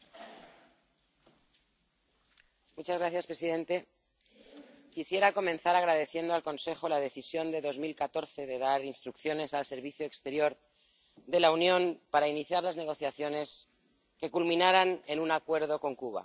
Señor presidente, quisiera comenzar agradeciendo al Consejo la decisión de 2014 de dar instrucciones al Servicio Europeo de Acción Exterior para iniciar negociaciones que culminaran en un acuerdo con Cuba.